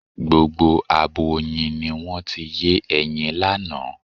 Gbogbo abo oyin ni wọ́n ti yé ẹyin lánàá.